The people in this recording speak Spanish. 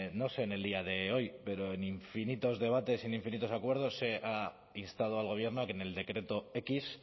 no sé en el día de hoy pero en infinitos en infinitos acuerdos se ha instado al gobierno a que en el decreto equis